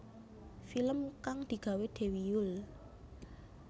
Film kang digawé Dewi Yull